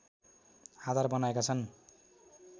आधार बनाएका छन्